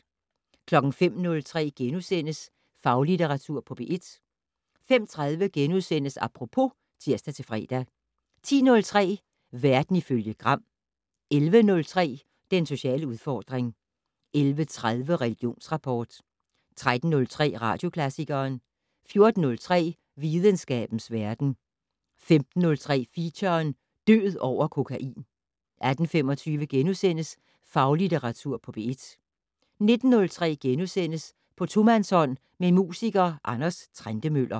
05:03: Faglitteratur på P1 * 05:30: Apropos *(tir-fre) 10:03: Verden ifølge Gram 11:03: Den sociale udfordring 11:30: Religionsrapport 13:03: Radioklassikeren 14:03: Videnskabens verden 15:03: Feature: Død over kokain 18:25: Faglitteratur på P1 * 19:03: På tomandshånd med musiker Anders Trentemøller *